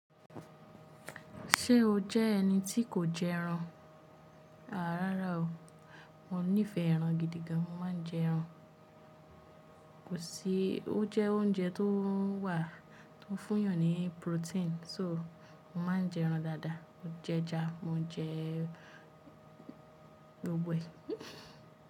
Ṣé o jẹ́ ẹni tí kò jẹ ẹran? Àá rárá o, mo nífẹ̀ẹ́ ẹran gidi gan. Mo máa ń jẹ ẹran. Kò sí, ó jẹ́ oúnjẹ tó wà tó fún eyàn ní protein, só mo máa ń jẹ ẹran dáadáa. Mo jẹ ẹja, mo jẹ gbogbo ẹ̀.